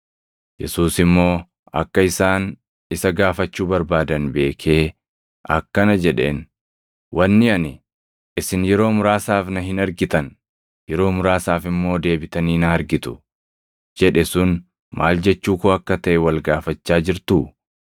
Yesuus immoo akka isaan isa gaafachuu barbaadan beekee akkana jedheen; “Wanni ani, ‘Isin yeroo muraasaaf na hin argitan; yeroo muraasaaf immoo deebitanii na argitu’ jedhe sun maal jechuu koo akka taʼe wal gaafachaa jirtuu?